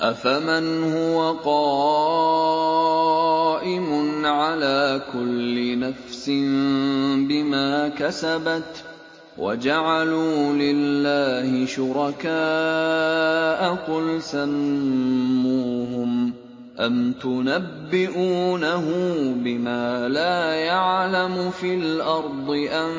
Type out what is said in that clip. أَفَمَنْ هُوَ قَائِمٌ عَلَىٰ كُلِّ نَفْسٍ بِمَا كَسَبَتْ ۗ وَجَعَلُوا لِلَّهِ شُرَكَاءَ قُلْ سَمُّوهُمْ ۚ أَمْ تُنَبِّئُونَهُ بِمَا لَا يَعْلَمُ فِي الْأَرْضِ أَم